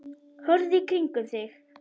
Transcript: Horfðu í kringum þig!